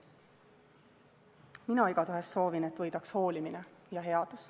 Mina igatahes soovin, et võidaks hoolimine ja headus.